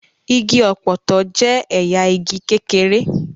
Igi ọ̀pọ̀tọ́ jẹ́ ẹ̀yà igi kékeré.